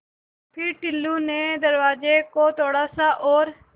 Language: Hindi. फ़िर टुल्लु ने दरवाज़े को थोड़ा सा और